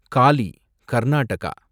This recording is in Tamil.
காலி , கர்நாடகா